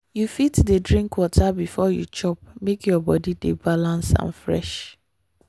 you fit dey drink water before you chop make your body dey balance and fresh.